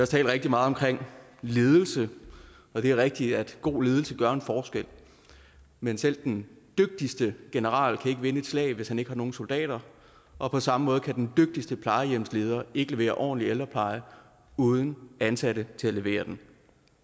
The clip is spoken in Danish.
talt rigtig meget om ledelse og det er rigtigt at god ledelse gør en forskel men selv den dygtigste general kan ikke vinde et slag hvis han ikke har nogen soldater og på samme måde kan den dygtigste plejehjemsleder ikke levere ordentlig ældrepleje uden ansatte til at levere den